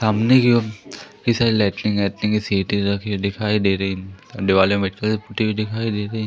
सामने की ओर कई सारे लैटरिंग वेट्रिन की सीटें रखी हुई दिखाई दे रही हैं दीवालें व्हाइट कलर पुती हुई दिखाई दे रही।